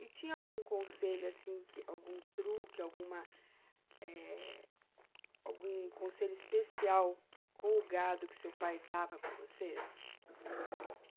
E tinha algum conselho assim que, algum truque, alguma eh, algum conselho especial com o gado que seu pai dava para vocês?